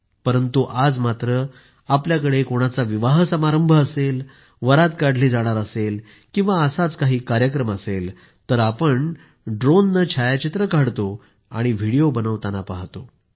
परंतु आज मात्र आपल्याकडे कोणाचा विवाह समारंभ असेल वरात काढली जाणार असेल किंवा असाच काही कार्यक्रम असेले तर आपण ड्रोनने छायाचित्रे काढतो आणि व्हिडिओ बनवताना पाहतोय